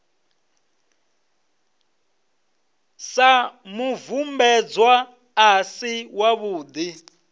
sa mubvumbedzwa a si wavhudi